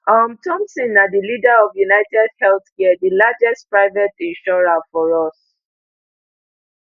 um thompson na di leader of unitedhealthcare di largest private insurer for us